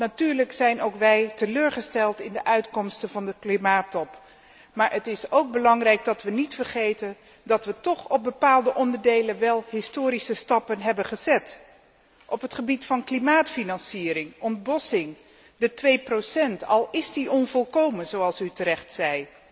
Natuurlijk zijn ook wij teleurgesteld in de uitkomsten van de klimaattop, maar het is belangrijk dat wij niet vergeten dat we op bepaalde onderdelen wél historische stappen hebben gezet op het gebied van klimaatfinanciering, ontbossing, de 2 graden, al is dit onvolkomen, zoals u terecht zei.